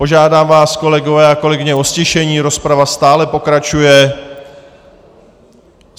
Požádám vás, kolegové a kolegyně, o ztišení, rozprava stále pokračuje.